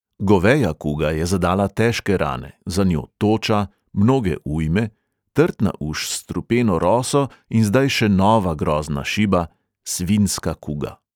Goveja kuga je zadala težke rane, za njo toča, mnoge ujme, trtna uš s strupeno roso in zdaj še nova grozna šiba – svinjska kuga.